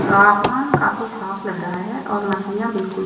आसमान काफ़ी साफ लग रहा हैं और मछलियां बिलकुल--